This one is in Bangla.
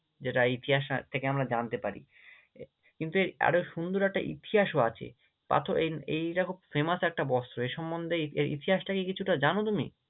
যেটা ইতিহাস থেকে আমরা জানতে পারি, কিন্তু আরও সুন্দর একটা ইতিহাসও আছে, পাথর এই এইটা খুব Famous একটা বস্ত্র এই সম্মন্ধে এর ইতিহাসটা কি কিছুটা জানো তুমি?